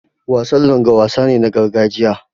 Wasan Langa wasa ne na gargajiya.